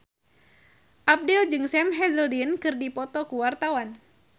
Abdel jeung Sam Hazeldine keur dipoto ku wartawan